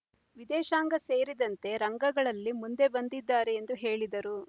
ವಿದೇಶಾಂಗ ಸೇರಿದಂತೆ ರಂಗಗಳಲ್ಲಿ ಮುಂದೆ ಬಂದಿದ್ದಾರೆ ಎಂದು ಹೇಳಿದರು